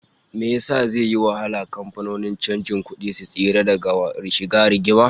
Why will it be difficult for bureau de change firms to stay out of trouble?